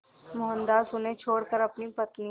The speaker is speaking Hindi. मोहनदास उन्हें छोड़कर अपनी पत्नी